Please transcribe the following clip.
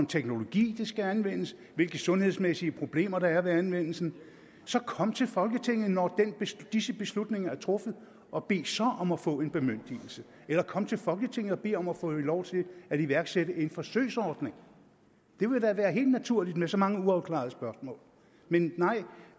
teknologi der skal anvendes hvilke sundhedsmæssige problemer der er ved anvendelsen kom til folketinget når disse beslutninger er truffet og bed så om at få en bemyndigelse eller kom til folketinget og bed om at få lov til at iværksætte en forsøgsordning det ville da være helt naturligt med så mange uafklarede spørgsmål men nej